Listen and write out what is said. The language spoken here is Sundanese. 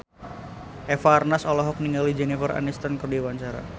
Eva Arnaz olohok ningali Jennifer Aniston keur diwawancara